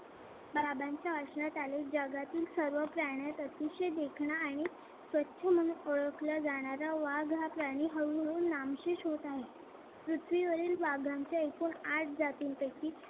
बाबांच्या आचरणात आले जगातील सर्व प्राण्यात अतिशय देखणा आहे स्वच्छ म्हणून ओळखला जाणारा वाघ हा प्राणी हळूहळू नामशेष होत आहे. पृथ्वीवरील वाघांच्या एकूण आठ जातींपैकी